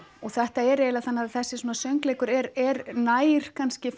og þetta er eiginlega þannig að þessi svona söngleikur er er nær kannski